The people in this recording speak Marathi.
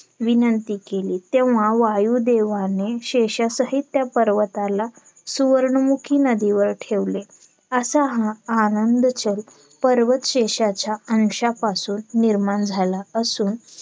विनंती केली तेव्हा वायुदेवाने शेषासहित त्या पर्वताला सुवर्णमुखी नदीवर ठेवले असा हा आनंदचल पर्वत शेषाच्या अंशापासून निर्माण झाला असून